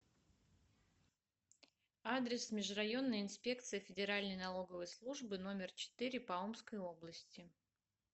адрес межрайонная инспекция федеральной налоговой службы номер четыре по омской области